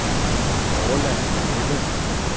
Orla Greve